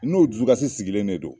N'o dusukasi sigilen de don